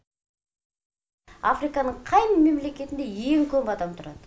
африканың қай мемлекетінде ең көп адам тұрады